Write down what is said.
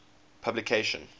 publication